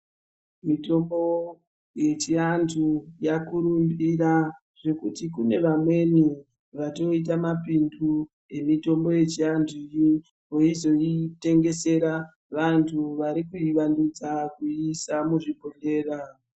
Mitombo yechiantu yakurumbira zvekuti kune vamweni vatoite mapindu emitombo yechiantuyi veizotengesera vanhu varikuivandudza kuiisa muzvibhehlra.